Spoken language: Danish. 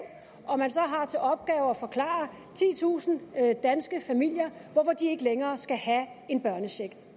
og at man så har til opgave at forklare titusind danske familier hvorfor de ikke længere skal have en børnecheck